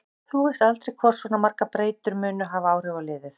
Þú veist aldrei hvort svona margar breytingar munu hafa áhrif á liðið.